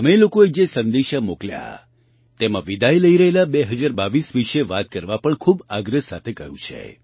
તમે લોકોએ જે સંદેશા મોકલ્યા તેમાં વિદાય લઈ રહેલા 2022 વિશે વાત કરવા પણ ખૂબ આગ્રહ સાથે કહ્યું છે